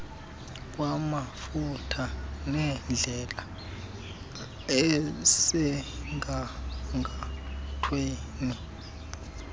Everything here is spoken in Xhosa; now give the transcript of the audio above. kwamafutha nendlela esemgangathweni